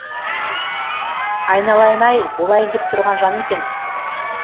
айналайын ай болайын деп тұрған жан екен